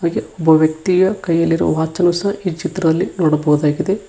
ಅಗೆ ಒಬ್ಬ ವ್ಯಕ್ತಿಯ ಕೈಯಲ್ಲಿರುವ ವಾಚನ್ನು ಈ ಚಿತ್ರದಲ್ಲಿ ನೋಡಬಹುದಾಗಿದೆ.